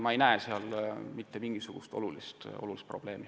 Ma ei näe siin hetkel mitte mingisugust olulist probleemi.